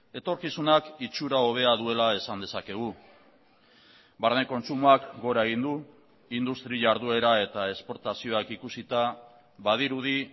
etorkizunak itxura hobea duela esan dezakegu barne kontsumoak gora egin du industria jarduera eta esportazioak ikusita badirudi